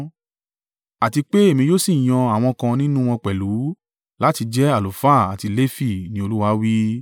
Àti pé èmi yóò sì yan àwọn kan nínú wọn pẹ̀lú láti jẹ́ àlùfáà àti Lefi,” ni Olúwa wí.